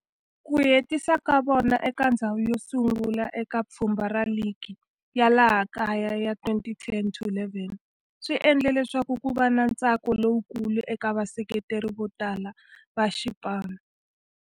Ku hetisa ka vona eka ndzhawu yosungula eka pfhumba ra ligi ya laha kaya ya 2010-11 swi endle leswaku kuva na ntsako lowukulu eka vaseketeri votala va xipano.